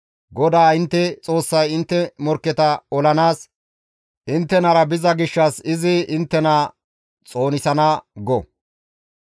GODAA intte Xoossay intte morkketa olanaas inttenara biza gishshas izi inttena xoonisana» go.